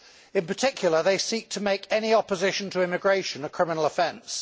In particular, they seek to make any opposition to immigration a criminal offence.